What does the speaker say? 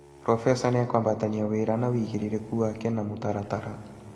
Profesa nĩegũtabania wĩra na wĩigĩrĩrĩki wake na mũtaratara